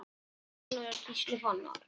Þeirra sonur er Gísli Fannar.